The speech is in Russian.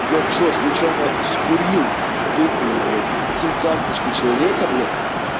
я что случайно скурил выкурил блять сим карточку человека блять